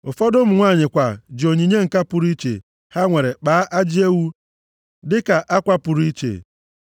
Ụfọdụ ụmụ nwanyị kwa ji onyinye ǹka pụrụ iche ha nwere kpaa ajị ewu dịka akwa pụrụ iche.